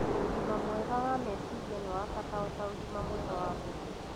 ũgima mwega wa meciria nĩ wa bata o ta ũgima mwega wa mwirĩ.